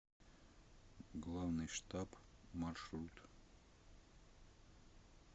главный штаб маршрут